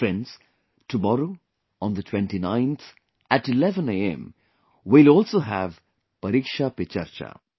Friends, tomorrow, on the 29th at 11 am we will also have Pariksha Pe Charcha'